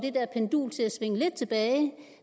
svinge lidt tilbage